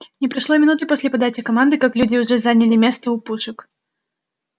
не прошло и минуты после подачи команды как люди уже заняли места у пушек